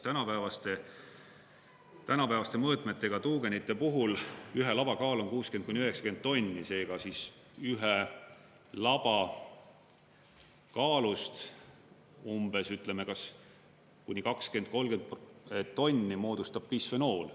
Tänapäevaste mõõtmetega tuugenite puhul ühe laba kaal on 60–90 tonni, seega ühe laba kaalust umbes, ütleme, kuni 20–30 tonni moodustab bisfenool.